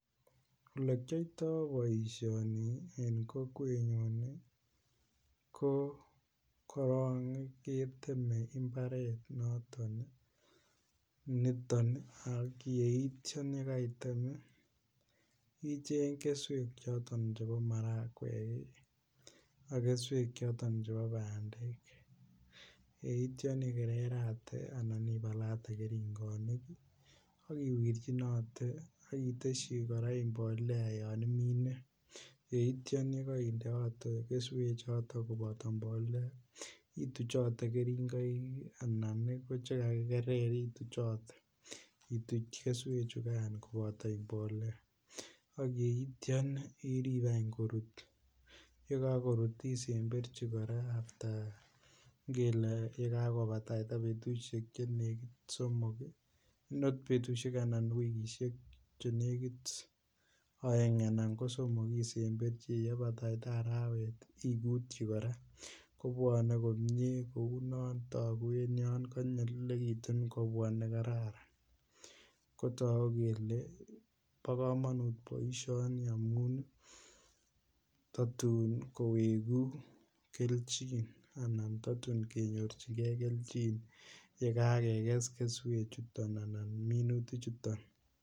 Ole kiyoito boisioni en kokwenyun ko korok keteme mbaret noton ak yeitya ye kaitem icheng keswek choton chebo marakwek ak keswek choton chebo bandek yeitya ikererate anan ibalate keringonik ak iwirchinote ak itesyi kora mbolea yon imine yeityo ye kaindeote keswek choton koboto mbolea ituchote keringoik anan ko Che kakikerer ituchote ituch keswechugan koboto mbolea ak yeitya irib korut ye kakorut isemberchi kora ye kakobataita wikisiek Che negit aeng anan ko somok isemberchi ye bek arawet igutyi kora kobwone komie kounoton kou yon kotok kobwone konyolilekitun ko kororon ko togu kele bo komonut boisioni amun tatun kowegu kelchin anan tatun kenyorchin ge kelchin ye keges keswechuto anan minutichuton